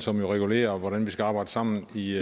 som jo regulerer hvordan vi skal arbejde sammen i